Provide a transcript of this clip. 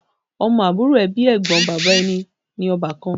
Ọmọ àbúrò tàbí Ẹ̀gbọ́n bàbá ẹni ní ọbakan